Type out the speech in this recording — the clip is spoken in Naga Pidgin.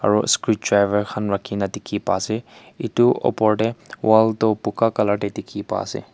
aro screwdriver khan rakhi na dekhey pa ase etu opor dae wall toh buka colour dae dekhey pa ase.